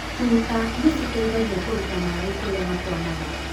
tuta nĩ citeithagia kũruta maĩ kũria makwamaga